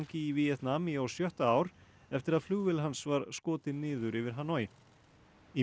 í Víetnam í á sjötta ár eftir að flugvél hans var skotin niður yfir Hanoi í